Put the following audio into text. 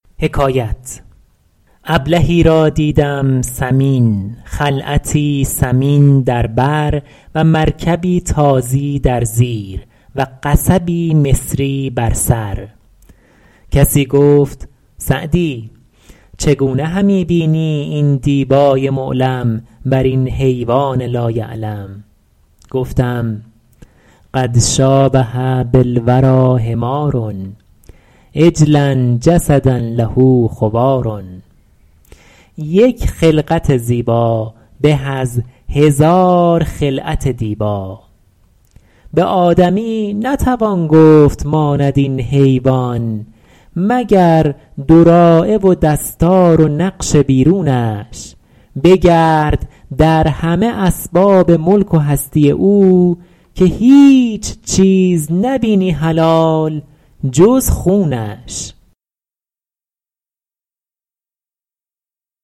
ابلهی را دیدم سمین خلعتی ثمین در بر و مرکبی تازی در زیر و قصبی مصری بر سر کسی گفت سعدی چگونه همی بینی این دیبای معلم بر این حیوان لا یعلم گفتم قد شٰابه بالوریٰ حمار عجلا جسدا له خوار یک خلقت زیبا به از هزار خلعت دیبا به آدمی نتوان گفت ماند این حیوان مگر دراعه و دستار و نقش بیرونش بگرد در همه اسباب ملک و هستی او که هیچ چیز نبینی حلال جز خونش